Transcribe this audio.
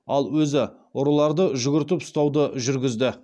ал өзі ұрыларды жүгіртіп ұстауды жүргізді